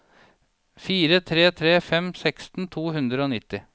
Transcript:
fire tre tre fem seksten to hundre og nitti